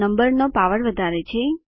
નંબરનો પાવર વધારે છે